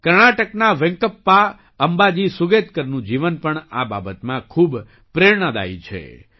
કર્ણાટકના વેંકપ્પા અમ્બાજી સુગેતકરનું જીવન પણ આ બાબતમાં ખૂબ પ્રેરણાદાયી છે